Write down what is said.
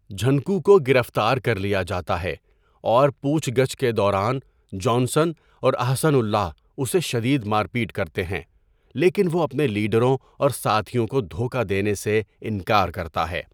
جھنکو کو گرفتار کر لیا جاتا ہے اور پوچھ گچھ کے دوران جانسن اور احسن اللہ اسے شدید مار پیٹ کرتے ہیں لیکن وہ اپنے لیڈروں اور ساتھیوں کو دھوکہ دینے سے انکار کرتا ہے۔